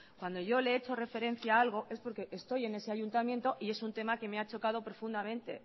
cuando yo le he hecho referencia a algo es porque estoy en ese ayuntamiento y es un tema que me ha chocado profundamente